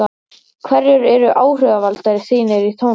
hverjir eru áhrifavaldar þínir í tónlist?